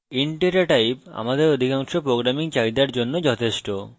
int data type আমাদের অধিকাংশ programming চাহিদার জন্য যথেষ্ট